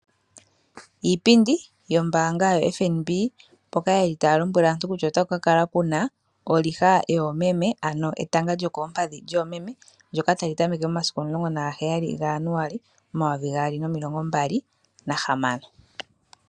Iipindi yombaanga yoFNB mpoka ye li taya lombwele aantu kutya, otaku kala ku na oliha yoomeme, ano etanga lyokoompadhi lyoomeme ndyono ta li tameke momasiku 17 gaJanuali 2026.